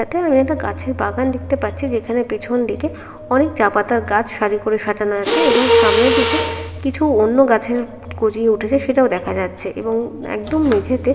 এখানে একটা গাছের বাগান দেখতে পাচ্ছি যেখানে পেছনদিকে অনেক চা পাতার গাছ শারি করে সাজানো আছে এবং সামনের দিকে কিছু অন্য গাছেও গজিয়ে উঠেছে সেটাও দেখা যাচ্ছে এবং একদম মেঝেতে--